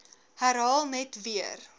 herhaal net weer